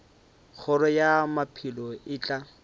kgoro ya maphelo e tla